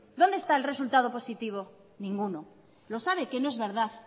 dónde está el resultado positivo ninguno lo sabe que no es verdad